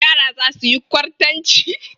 Yara za su yi kwartanci.